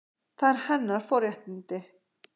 Það eru hennar forréttindi.